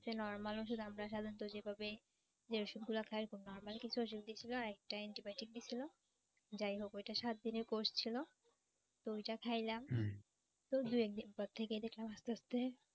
Normal ওষুধ আমরা সাধারণত যেভাবে যে ওষুধগুলা খাই খুব normal কিছু ওষুধ দিছিল। আর আরেকটা antibiotic দিছিল। যাই হোক ওইটা সাত দিনের course ছিল তো ঐটা খাইলাম তো দুই এক দিন পর থেকে দেখলাম আস্তে আস্তে,